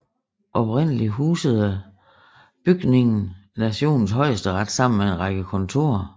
Oprindeligt husede bygningen nationens højesteret sammen med en række kontorer